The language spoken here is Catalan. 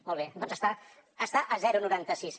molt bé doncs està a zero coma noranta sis